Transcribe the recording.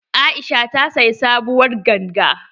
Aisha ta siyi sabuwar ganga.